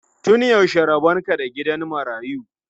Tun yaushe rabon ka da gidan marayu?